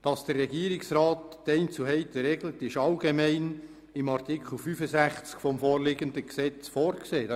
Dass der Regierungsrat die Einzelheiten regelt ist, allgemein in Artikel 65 des vorliegenden Gesetzes vorgesehen.